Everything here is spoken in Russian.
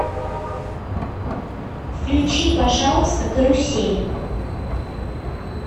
включи пожалуйста карусель